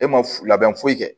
E ma f labɛn foyi kɛ